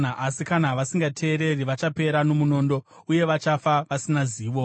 Asi kana vasingateereri, vachapera nomunondo, uye vachafa vasina zivo.